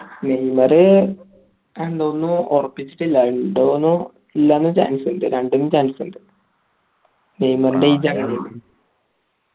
Neymar ഇണ്ടോന്നോ ഒറപ്പിച്ചിട്ടില്ല ഇണ്ടോന്നോ ഇല്ലാന്നോ chance ഇണ്ട് രണ്ടിനും chance ഇണ്ട് നെയ്യിമാറിന്റെ